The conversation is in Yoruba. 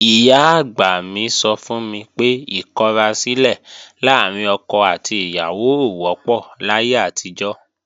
Ìyá-àgbà mi sọ fún mi pé ìkọrasílẹ̀ láàrín ọkọ àti ìyàwó ò wọ́pọ̀ láyé àtijọ́